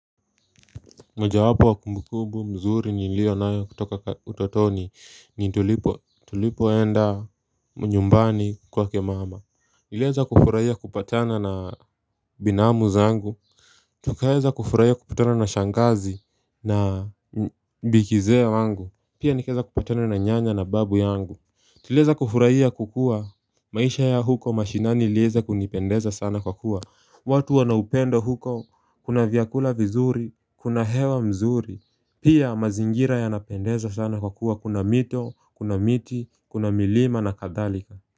Moja wapo wa kumbukumbu mzuri niliyo nayo kutoka utotoni ni tulipo enda nyumbani kwake mama Niliweza kufurahia kupatana na binamu zangu Tukaweza kufurahia kupatana na shangazi na bi kizee wangu Pia nikaweza kupatana na nyanya na babu yangu Tuliweza kufurahia kukua maisha ya huko mashinani iliweza kunipendeza sana kwa kuwa watu wanaupendo huko, kuna vyakula vizuri, kuna hewa mzuri, pia mazingira yanapendeza sana kwa kuwa kuna mito, kuna miti, kuna milima na kadhalika.